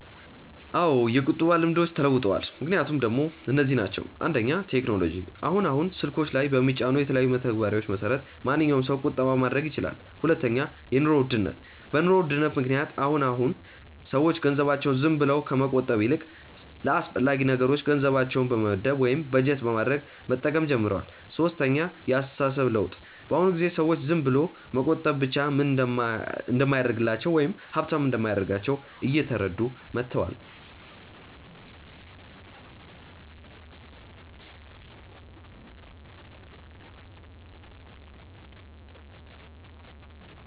አዎ የቁጠባ ልምዶች ተለውጠዋል። ምክንያቶቹ ደሞ እነዚህ ናቸው፦ 1. ቴክኖሎጂ፦ አሁን አሁን ስልኮች ላይ በሚጫኑ የተለያዩ መተግበሪያዎች መሰረት ማንኛዉም ሰው ቁጠባ ማድረግ ይችላል 2. የኑሮ ውድነት፦ በ ኑሮ ውድነት ምክንያት አሁን አሁን ሰዎች ገንዘባቸውን ዝም ብለው ከመቆጠብ ይልቅ ለአስፈላጊ ነገሮች ገንዘባቸውን በመመደብ ወይም በጀት በማድረግ መጠቀም ጀምረዋል 3. የ አስተሳሰብ ለውጥ፦ በ አሁን ጊዜ ሰዎች ዝም ብሎ መቆጠብ ብቻ ምንም እንደማያደርግላቸው ወይም ሃብታም እንደማያደርጋቸው እየተረዱ መተዋል